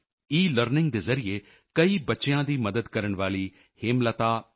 learning ਦੇ ਜ਼ਰੀਏ ਕਈ ਬੱਚਿਆਂ ਦੀ ਮਦਦ ਕਰਨ ਵਾਲੀ ਹੇਮਲਤਾ ਐੱਨ